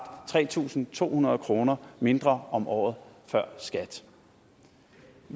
tre tusind to hundrede kroner mindre om året før skat